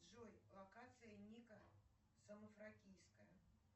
джой локация ника самофракийская